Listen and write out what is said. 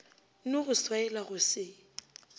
no go swaela go se